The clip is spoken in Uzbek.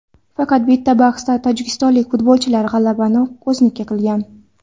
Faqat bitta bahsda tojikistonlik futbolchilar g‘alabani o‘ziniki qilgan.